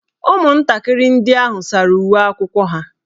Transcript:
Ụmụntakịrị ndị ahụ sara uwe akwụkwọ ha.